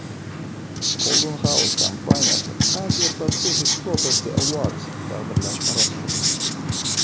Golden House kompaniyasi Asia Pacific Property Awards taqdirlash marosimida!